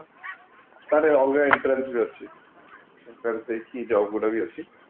ଅଲଗା entrance ବି ଅଛି entrance ଦେଇକି job ଗୁଡା ବି ଅଛି